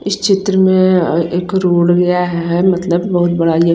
इस चित्र में एक रोड मतलब बोहोत बड़ी --